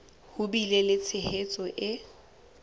ho bile le tshehetso e